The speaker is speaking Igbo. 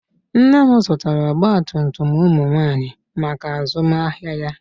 Nne m zụtara ọgbatumtum ụmụ nwaanyị maka azụmahịa ya